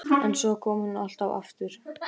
En svo kom hún alltaf aftur.